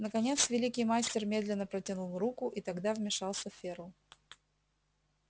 наконец великий мастер медленно протянул руку и тогда вмешался ферл